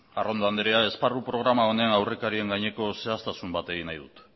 arrondo anderea esparru programa honen aurrekarien gaineko zehaztasun bat egin nahi dut